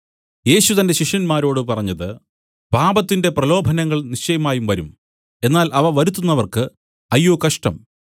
യേശു തന്റെ ശിഷ്യന്മാരോട് പറഞ്ഞത് പാപത്തിന്റെ പ്രലോഭനങ്ങൾ നിശ്ചയമായും വരും എന്നാൽ അവ വരുത്തുന്നവർക്കു അയ്യോ കഷ്ടം